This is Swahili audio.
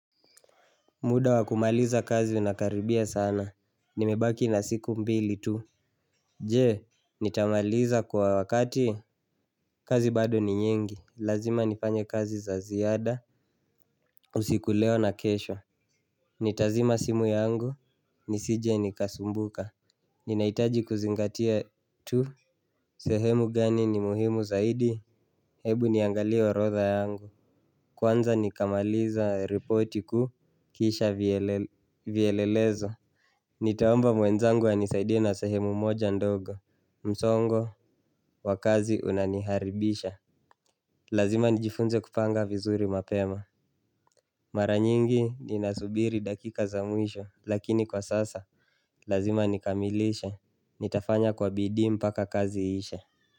Muda wa kumaliza kazi inakaribia sana, nimebaki na siku mbili tu. Je, nitamaliza kwa wakati, kazi bado ni nyingi, lazima nifanye kazi za ziada. Usiku leo na kesho nitazima simu yangu, nisije nikasumbuka. Ninahitaji kuzingatia tu, sehemu gani ni muhimu zaidi, hebu niangalia orodha yangu. Kwanza nikamaliza ripoti kuu kisha vielelezo. Nitaomba mwenzangu anisaidie na sehemu moja ndogo. Msongo wa kazi unaniharibisha. Lazima nijifunze kupanga vizuri mapema. Mara nyingi ninasubiri dakika za mwisho lakini kwa sasa lazima nikamilishe, nitafanya kwa bidii mpaka kazi iishe.